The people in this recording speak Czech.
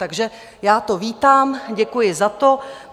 Takže já to vítám, děkuji za to.